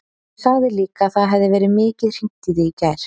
Hún sagði líka að það hefði verið mikið hringt í þig í gær.